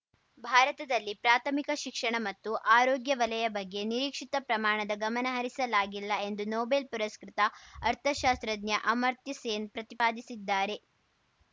ಭಾರತದಲ್ಲಿ ಪ್ರಾಥಮಿಕ ಶಿಕ್ಷಣ ಮತ್ತು ಆರೋಗ್ಯ ವಲಯ ಬಗ್ಗೆ ನಿರೀಕ್ಷಿತ ಪ್ರಮಾಣದ ಗಮನ ಹರಿಸಲಾಗಿಲ್ಲ ಎಂದು ನೊಬೆಲ್‌ ಪುರಸ್ಕೃತ ಅರ್ಥಶಾಸ್ತ್ರಜ್ಞ ಅಮರ್ತ್ಯ ಸೇನ್‌ ಪ್ರತಿಪಾದಿಸಿದ್ದಾರೆ